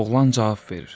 Oğlan cavab verir.